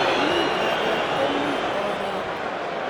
Yemi maget ko mi oret.